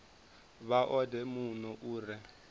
vha odele muno u re